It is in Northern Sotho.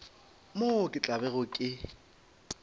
moo ke tla bego ke